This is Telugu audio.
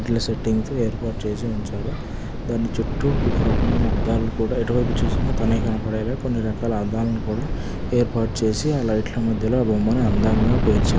సెట్టింగ్ స్ ఏర్పాటు చేసి ఉంచారు. దాని చుట్టూ ఒక రకమైన అద్దాలను కూడా ఎటువైపు చూసిన తనే కనపడేలా కొన్ని రకాల అద్దాలను కూడా ఏర్పాటు చేసి అ లైట్ ల మధ్యలో ఆ బొమ్మని అందంగా పేర్చారు.